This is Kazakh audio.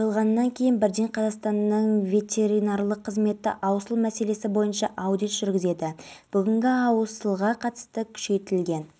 келушілерді ауқымды музыкалық бағдарлама күтіп тұр тінту барысында мелдебековтің қызметтік кабинеті мен үйінен млн теңге және